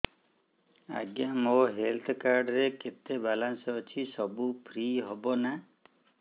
ଆଜ୍ଞା ମୋ health card ରେ କେତେ ବାଲାନ୍ସ ଅଛି ସବୁ ଫ୍ରି ହବ ନାଁ